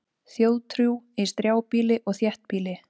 Þjóðtrú í strjálbýli og þéttbýli